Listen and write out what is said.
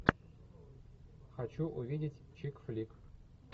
хочу увидеть чик флик